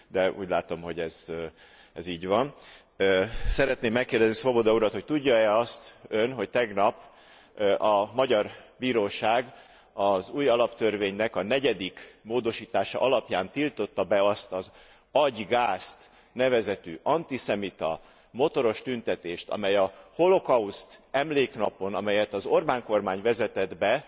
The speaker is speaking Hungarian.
De úgy látom, hogy ez így van. Szeretném megkérdezni Swoboda urat, hogy tudja e azt Ön, hogy tegnap a magyar bíróság az új alaptörvénynek a negyedik módosítása alapján tiltotta be azt az Adj gázt! nevezetű antiszemita motoros tüntetést, amely a Holocaust emléknapon amelyet az Orbán kormány vezetett be